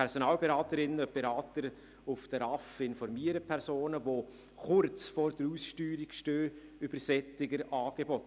Personalberaterinnen und -berater der RAV informieren Personen, die kurz vor der Aussteuerung stehen, über solche Angebote.